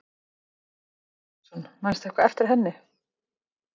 Andri Ólafsson: Manstu eitthvað eftir henni?